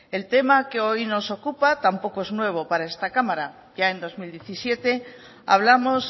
el tema que hoy nos ocupa tampoco es nuevo para esta cámara ya en dos mil diecisiete hablamos